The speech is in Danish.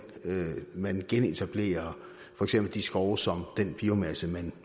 man genetablerer for eksempel de skove som den biomasse man